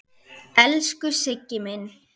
Elsku Siggi minn.